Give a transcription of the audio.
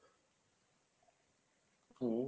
হম